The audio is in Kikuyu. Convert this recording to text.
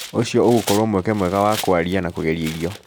ũcio ũgũkorwo mweke mwega wa kũaria na kũgeria irio.